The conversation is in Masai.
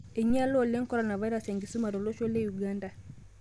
Einyala oleng' koronavirus enkisuma tolosho Uganda